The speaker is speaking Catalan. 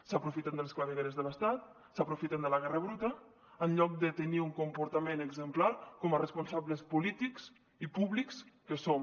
s’aprofiten de les clavegueres de l’estat s’aprofiten de la guerra bruta en lloc de tenir un comportament exemplar com a responsables polítics i públics que som